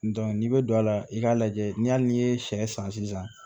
n'i bɛ don a la i k'a lajɛ ni hali n'i ye sɛ san sisan